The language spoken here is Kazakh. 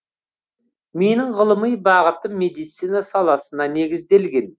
менің ғылыми бағытым медицина саласына негізделген